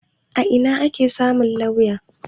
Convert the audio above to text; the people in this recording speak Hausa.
A ina ake samu lauya?